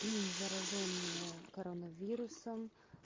заражённые коронавирусом